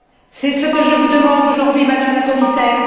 C'est ce que je vous demande aujourd'hui, Madame la Commissaire.